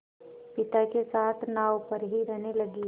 पिता के साथ नाव पर ही रहने लगी